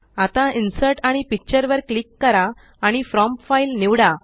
आता इन्सर्ट आणि पिक्चर वर क्लिक करा आणि फ्रॉम फाइल निवडा